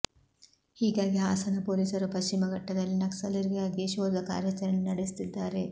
ಹೀಗಾಗಿ ಹಾಸನ ಪೊಲೀಸರು ಪಶ್ಚಿಮ ಘಟ್ಟದಲ್ಲಿ ನಕ್ಸಲರಿಗಾಗಿ ಶೋಧ ಕಾರ್ಯಾಚರಣೆ ನಡೆಸುತ್ತಿದ್ದಾರೆ